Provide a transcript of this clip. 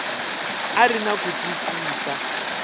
a ri na ku twisisa